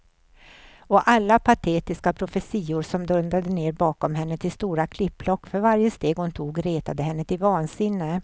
Och alla patetiska profetior som dundrade ner bakom henne likt stora klippblock för varje steg hon tog retade henne till vansinne.